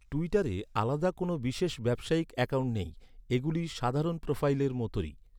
ট্যুইটারে আলাদা করে কোনও বিশেষ ব্যবসায়িক অ্যাকাউন্ট নেই। এগুলি সাধারণ প্রোফাইলের মতোই।